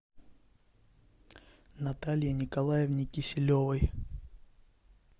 наталье николаевне киселевой